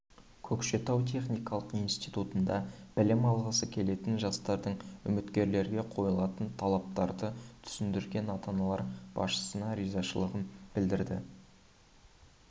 көкшетау техникалық институтында білім алғысы келетін жастардың үміткерлерге қойылатын талаптарды түсіндірген ата-аналары басшысына ризашылықтарын білдірді